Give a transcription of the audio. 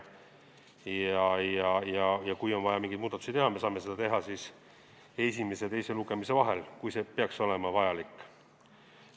Kui on vaja mingeid muudatusi teha, siis me saame neid teha esimese ja teise lugemise vahel, kui see peaks olema vajalik.